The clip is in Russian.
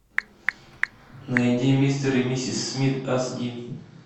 найди мистер и миссис смит ас ди